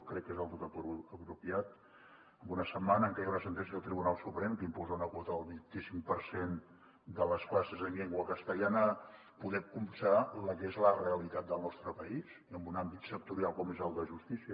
crec que és del tot apropiat en una setmana en que hi ha una sentència del tribunal suprem que imposa una quota del vint i cinc per cent de les classes en llengua castellana poder copsar la que és la realitat del nostre país i en un àmbit sectorial com és el de justícia